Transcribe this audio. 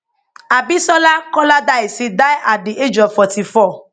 abisola koladaisi die at di age of 44